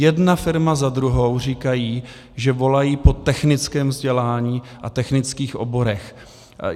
Jedna firma za druhou říkají, že volají po technickém vzdělání a technických oborech.